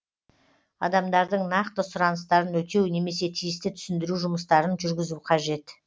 адамдардың нақты сұраныстарын өтеу немесе тиісті түсіндіру жұмыстарын жүргізу қажет